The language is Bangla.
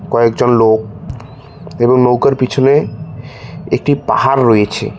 কয়েকজন লোক এবং নৌকার পিছনে একটি পাহাড় রয়েছে।